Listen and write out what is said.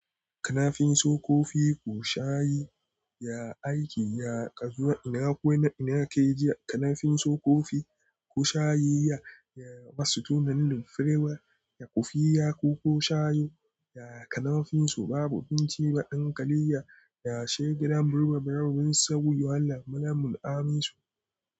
Kanafin so kofi ko shayi? Ya aiki ya ƙazuwa ina ko na ka yi jiya. Kanafin so kofi ko shayi ya, ya masu tunanin furewa, ya ƙufiya ko shayo, ya kanafin so babu abinci wa ɗan ƙaliya, ya sha gidan birbirmar wurin sabu yawon lamunin amisu.